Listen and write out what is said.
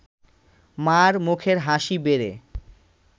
মা’র মুখের হাসি বেড়ে